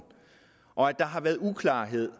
og at der har været uklarhed